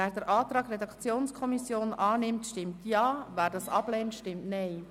Wer den Antrag der Redaktionskommission annimmt, stimmt Ja, wer diesen ablehnt, stimmt Nein.